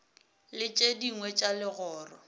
le tše dingwe tša legoro